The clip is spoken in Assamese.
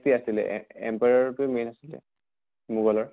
তি আছিলে empire টো main আছিলে মোগলৰ